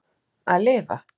Að lifa?